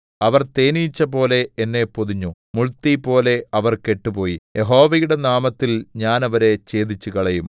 അവർ തേനീച്ചപോലെ എന്നെ പൊതിഞ്ഞു മുൾതീപോലെ അവർ കെട്ടുപോയി യഹോവയുടെ നാമത്തിൽ ഞാൻ അവരെ ഛേദിച്ചുകളയും